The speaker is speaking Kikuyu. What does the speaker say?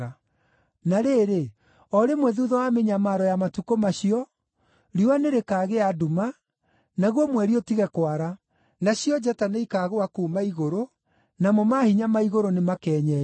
“Na rĩrĩ, o rĩmwe thuutha wa mĩnyamaro ya matukũ macio, “ ‘riũa nĩrĩkagĩa nduma, naguo mweri ũtige kwara; nacio njata nĩikaagũa kuuma igũrũ, namo maahinya ma igũrũ nĩmakenyenyio.’